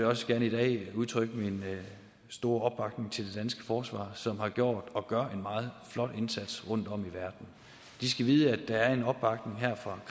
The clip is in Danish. også gerne i dag udtrykke min store til det danske forsvar som har gjort og gør en meget flot indsats rundtom i verden de skal vide at der er en opbakning her fra